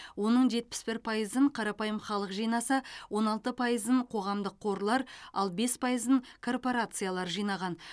оның жетпіс бір пайызын қарапайым халық жинаса он алты пайызын қоғамдық қорлар ал бес пайызын корпорациялар жинаған